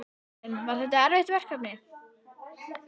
Sunna Karen: En var þetta erfitt verkefni?